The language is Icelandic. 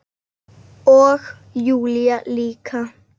Og Júlía líka.